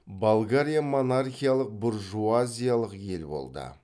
болгария монархиялық буржуазиялық ел болды